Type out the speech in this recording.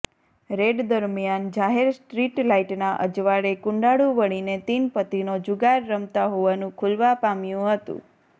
red દરમ્યાન જાહેર street લાઈટના અજવાળે કુંડાળુ વળીને તીનપત્તિનો જુગાર રમતા હોવાનું ખૂલવા પામ્યું હતું